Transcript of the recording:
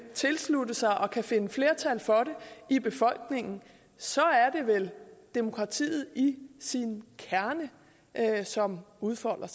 tilslutte sig og kan finde flertal for det i befolkningen så er det vel demokratiet i sin kerne som udfolder